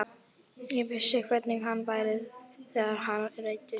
Ég vissi hvernig hann var þegar hann reiddist.